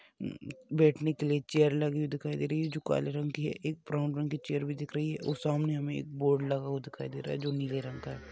उम् बैठने के लिए एक चेयर लगी दिखाई दे रही है जो काले रंग की है एक ब्राउन रंग की चेयर भी दिख रही है और सामने हमे एक बोर्ड लगा हुआ दिखाई दे रहा है जो नीले रंग का है।